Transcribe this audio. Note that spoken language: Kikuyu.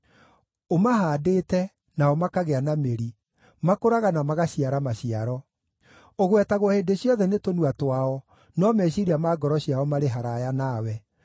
Ũmahaandĩte, nao makagĩa na mĩri; makũraga na magaciara maciaro. Ũgwetagwo hĩndĩ ciothe nĩ tũnua twao, no meciiria ma ngoro ciao marĩ haraaya nawe.